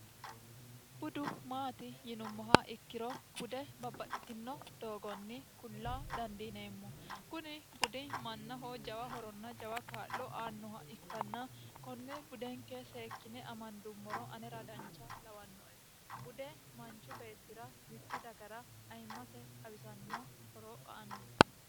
budu maati yinummoha ikkiro bude babbaxxitino doogonni kullaa dandiineemmo kuni budi mannaho jawa horonna jawa kaa'lo aannoha ikkanna konne budenke seekkine amandummoro anera dancha lawannoe bude manchu beettira mitta dagara ayimmase xawisanno horo aanno